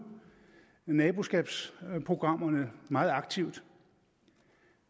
naboskabsprogrammerne meget aktivt